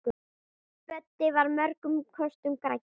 Böddi var mörgum kostum gæddur.